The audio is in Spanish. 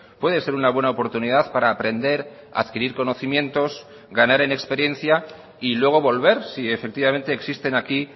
puede ser una buena oportunidad para aprender adquirir conocimientos ganar en experiencia y luego volver si efectivamente existen aquí